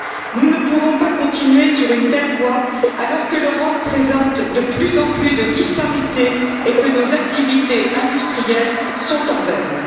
Nous ne pouvons pas continuer sur une telle voie alors que l'Europe présente de plus en plus de disparités et que nos activités industrielles sont en berne.